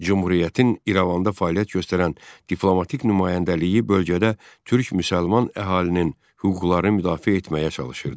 Cümhuriyyətin İrəvanda fəaliyyət göstərən diplomatik nümayəndəliyi bölgədə türk-müsəlman əhalinin hüquqlarını müdafiə etməyə çalışırdı.